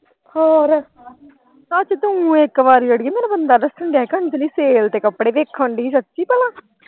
ਹੋਰ ਸੱਚ ਤੂੰ ਇੱਕ ਵਾਰੀ ਅੜੀਏ ਬੰਦਾ ਦੱਸਣ ਦਿਆ ਹੀ ਕਿ ਅੰਜਲੀ sale ਤੇ ਕਪੜੇ ਦੇਖਣ ਦੀ ਦੱਸੀਂ ਭਲਾ।